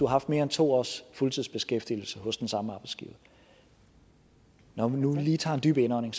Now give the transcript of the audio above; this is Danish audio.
haft mere end to års fuldtidsbeskæftigelse hos den samme arbejdsgiver når vi nu lige tager en dyb indånding